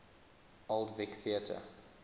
old vic theatre